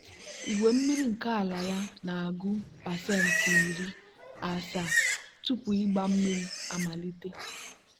a na-agba mmiri ha ugboro atọ kwa izu site na iji oge emebere ya.